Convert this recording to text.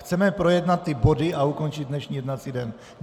Chceme projednat ty body a ukončit dnešní jednací den.